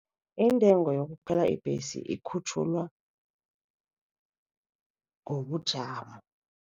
Intengo yokukhwela ibhesi ikhutjhulwa ngobujamo.